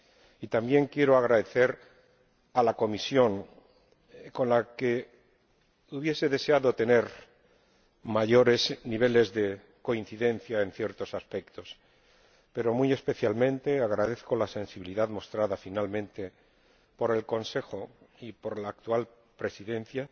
Y también quiero dar las gracias a la Comisión, con la que hubiese deseado tener mayores niveles de coincidencia en ciertos aspectos. Pero muy especialmente agradezco la sensibilidad mostrada finalmente por el Consejo y por la actual Presidencia,